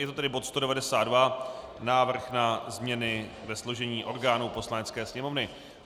Je to tedy bod 192 - Návrh na změny ve složení orgánů Poslanecké sněmovny.